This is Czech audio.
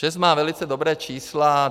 ČEZ má velice dobrá čísla.